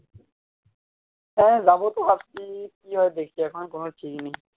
হ্যাঁ যাবো তো ভাবছি কি হয় দেখি এখনো